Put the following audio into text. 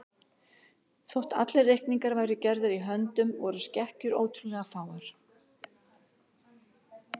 Þótt allir reikningar væru gerðir í höndum voru skekkjur ótrúlega fáar.